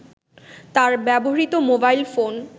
তার ব্যবহৃত mobile phone